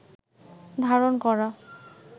ধারণ করা